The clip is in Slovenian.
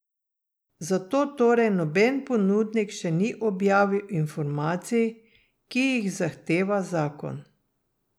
Zato torej noben ponudnik še ni objavil informacij, ki jih zahteva zakon.